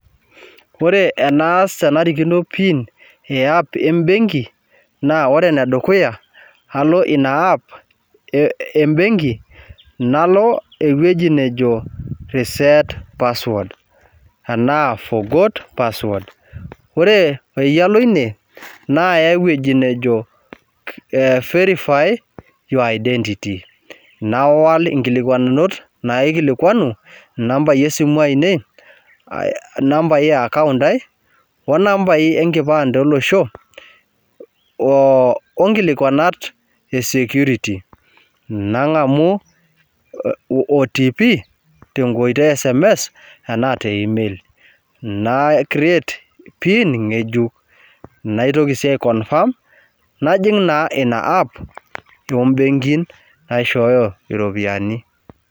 Ore naas tenarikino impiin eapp embenki naa ore ne dukuya alo ina app embenki nalo eweje najo reset password anaa forgot password. Ore peyie alo ine naaya eweji najo verify your identity nawuol inkilikuanikonot naikilikuanu nambai esimu ainei, nambai e account aii o nambai enkipande olosho,o nkilikuanata e security nangamu otp te nkoitoi esms, enaa te email naicreate piin ing'ejuk ,naitoki sii aikonconfirm najing' naa ina laptop imbenkin naishooyo iropiyiani.